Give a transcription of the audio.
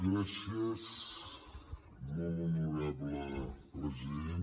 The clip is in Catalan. gràcies molt honorable president